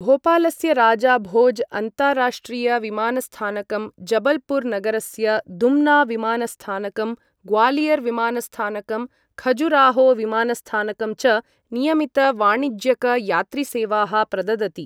भोपालस्य राजा भोज् अन्ताराष्ट्रिय विमानस्थानकं, जबलपुर नगरस्य दुम्ना विमानस्थानकं, ग्वालियर् विमानस्थानकं, खजुराहो विमानस्थानकं च नियमित वाणिज्यक यात्रिसेवाः प्रददति।